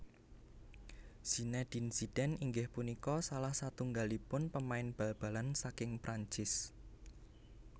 Zinédine Zidane inggih punika salah satunggalipun pemain bal balan saking Prancis